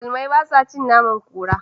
Musulmai ba sa cin naman kura.